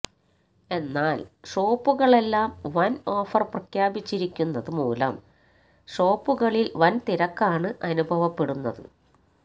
എന്നാൽ ഷോപ്പുകളെല്ലാം വൻ ഓഫർ പ്രഖ്യാപിച്ചിരിക്കുന്നത് മൂലം ഷോപ്പുകളിൽ വൻ തിരക്കാണ് അനുഭവപ്പെടുന്നത്